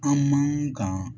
An man kan